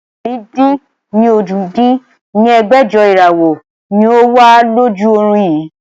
ẹ̀rin-dín-ní-ojì dín ní ẹgbẹ́jọ Ìràwọ́ ni ó wà lójú ọrùn yii